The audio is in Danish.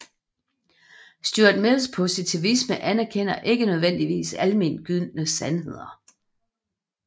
Stuart Mills positivisme anerkender ikke nødvendige almengyldige sandheder